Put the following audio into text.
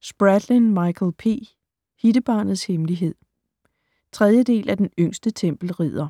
Spradlin, Michael P.: Hittebarnets hemmelighed 3. del af Den yngste tempelridder.